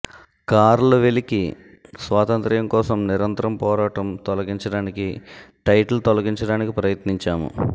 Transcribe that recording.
curl వెలికి స్వాతంత్ర్యం కోసం నిరంతరం పోరాటం తొలగించడానికి టైటిల్ తొలగించడానికి ప్రయత్నించాము